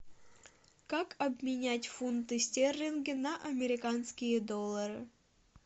как обменять фунты стерлинги на американские доллары